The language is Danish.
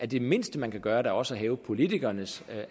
det mindste man kan gøre også at hæve politikernes